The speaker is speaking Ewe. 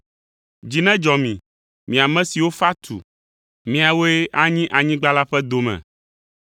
Dzi nedzɔ mi, mi ame siwo fa tu, miawoe anyi anyigba la ƒe dome.